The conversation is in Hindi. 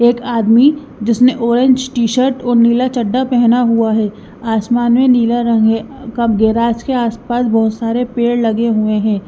एक आदमी जिसने ऑरेंज टी शर्ट और नीला चड्ढा पेहना हुआ है आसमान में नीला रंग है गैराज के आसपास बहुत सारे पेड़ लगे हुए हैं।